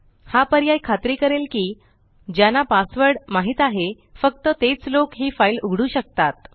हा पर्याय खात्री करेल की ज्याना पासवर्ड माहीत आहे फक्त तेच लोक हि फाइल उघडू शकतात